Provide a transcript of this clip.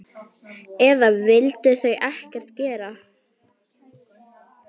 Eða vildu þau ekkert gera?